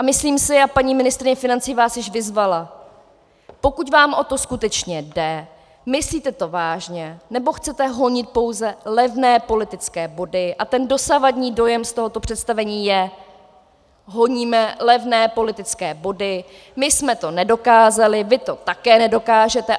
A myslím si, a paní ministryně financí vás již vyzvala, pokud vám o to skutečně jde, myslíte to vážně, nebo chcete honit pouze levné politické body, a ten dosavadní dojem z tohoto představení je, honíme levné politické body, my jsme to nedokázali, vy to také nedokážete.